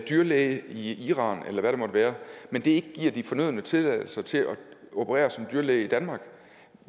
dyrlæge i iran eller hvad det måtte være men det ikke giver de fornødne tilladelser til at operere som dyrlæge i danmark